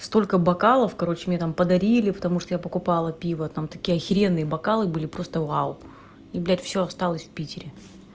столько бокалов короче не там подарили потому что я покупала пиво там такие охеренные бокалы были просто вау и бля всё осталось в питере